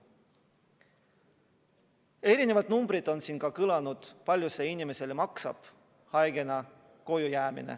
Siin on ka kõlanud erinevad numbrid, kui palju see inimesele maksab, kui ta haigena koju jääb.